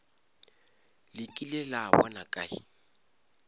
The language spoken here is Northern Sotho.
le kile la bona kae